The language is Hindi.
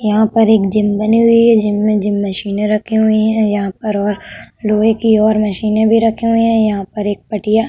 यहां पर एक जिम बनी हुई है। जिम में जिम मशीने रखी हुई है यहां पर और लोहे की और मशीने भी रखी हुई है। यहां पर एक पटिया --